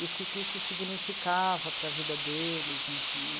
E o que que isso significava para a vida deles, enfim.